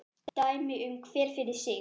Dæmi nú hver fyrir sig.